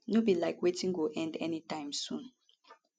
no be like wetin go end anytime soon